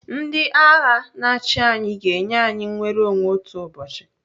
Ndị agha na-achi anyị ga-enye anyị nnwereonwe otu ụbọchị.